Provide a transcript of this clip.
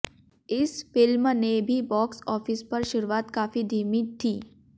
इस फिल्म ने भी बॉक्स ऑफिस पर शुरुआत काफी धीमी थी